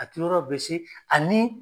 A te yɔrɔ guwese ani